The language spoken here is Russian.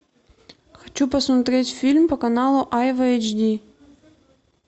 хочу посмотреть фильм по каналу айва эйч ди